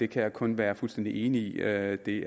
kan kun være fuldstændig enig i at det